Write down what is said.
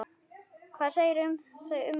Hvað segirðu um þau ummæli?